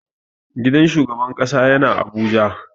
Gidan shugaban ƙasa yana abuja.